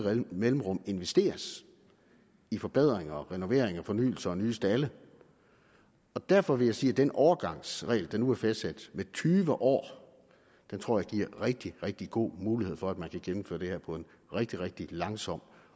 mellemrum investeres i forbedringer og renoveringer og fornyelser og nye stalde derfor vil jeg sige at den overgangsregel der nu er fastsat på tyve år tror jeg giver rigtig rigtig god mulighed for at man kan gennemføre det her på en rigtig rigtig langsom